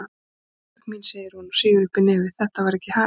Ísbjörg mín, segir hún og sýgur uppí nefið, þetta var ekki hægt.